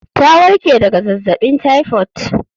Ta warke daga zazzabin typhoid